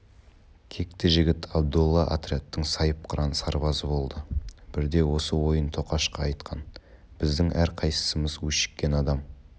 кекті жігіт абдолла отрядтың сайыпқыран сарбазы болды бірде осы ойын тоқашқа айтқан біздің әрқайсымыз өшіккен адам